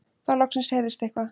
Þá loksins heyrðist eitthvað.